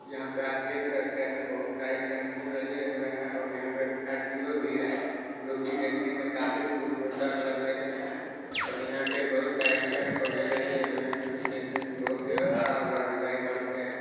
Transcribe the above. यहाँ पे आप देख सकते हैं बहुत सारे टेम्पो लगे हुए है और यहां पे स्कार्पियो भी है जो की देखने में काफी खूब सुंदर लग रहे हैं और यहां पर बहुत सारे पेड़ लगाए भी लगे हुए जो कि देखने में बहुत ही हरा भरा दिखाई पड़ते हैं |